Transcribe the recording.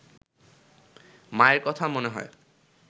মায়ের কথা মনে হয়